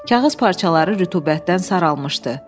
Kağız parçaları rütubətdən saralmışdı.